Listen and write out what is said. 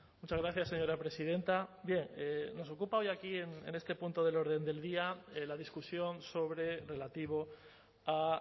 muchas gracias señora presidenta nos ocupa hoy aquí en este punto del orden del día la discusión sobre relativo a